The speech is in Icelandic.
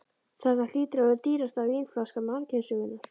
Þetta hlýtur að vera dýrasta vínflaska mannkynssögunnar.